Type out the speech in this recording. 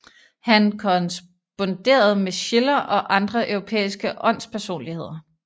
Han korresponderede med Schiller og andre europæiske åndspersonligheder